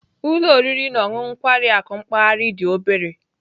Ụlọ oriri na ọṅụṅụ na nkwari akụ mpaghara dị obere